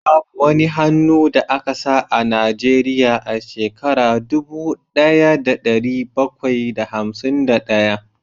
Babu wani hannu da aka sa a Najeriya a shekara dubu daya da dari bakwai da hamsin da daya